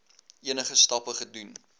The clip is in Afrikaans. enige stappe gedoen